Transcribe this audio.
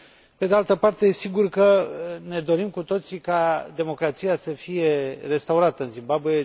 Pe de altă parte, sigur că ne dorim cu toții ca democrația să fie restaurată în Zimbabwe.